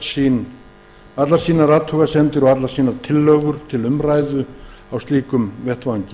með allar sínar athugasemdir og tillögur til umræðu á slíkum vettvangi